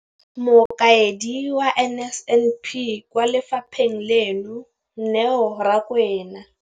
Mokaedi wa NSNP kwa lefapheng leno, Neo Rakwena,